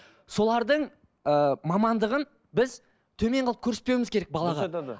солардың ыыы мамандығын біз төмен қылып көрсетпеуіміз керек балаға